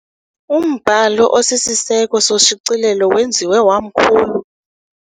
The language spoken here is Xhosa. Umbhalo osisiseko soshicilelo wenziwe wamkhulu.